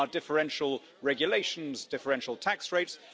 There are differential regulations, differential tax rates.